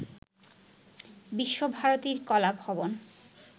বিশ্বভারতীর কলাভবন